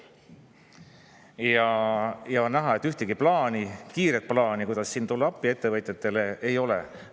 on näha, et ühtegi plaani, kiiret plaani, kuidas tulla appi ettevõtjatele, ei ole.